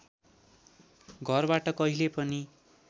घरबाट कहिले पनि